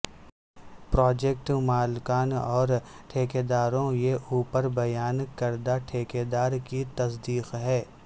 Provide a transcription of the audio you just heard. project مالکان اور ٹھیکیداروں یہ اوپر بیان کردہ ٹھیکیدار کی تصدیق ہے